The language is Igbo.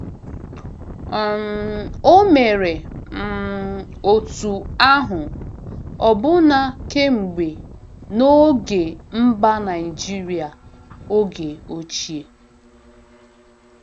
um O mere, um otú ahụ ọbụna kemgbe n’oge mba Naijiria oge ochie.